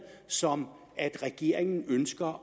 som at regeringen ønsker